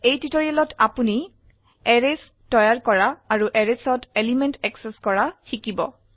এই টিউটোৰিয়ালত আপোনি এৰেইছ তৈয়াৰ কৰা আৰু Arraysত এলিমেন্ট এক্সেস কৰা শিকিব